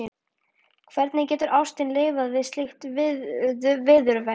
Hvernig getur ástin lifað við slíkt viðurværi?